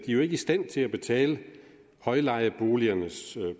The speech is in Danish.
i stand til at betale højlejeboligernes